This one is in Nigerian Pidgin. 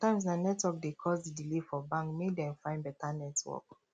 sometimes na network dey cause di delay for bank make dem find beta network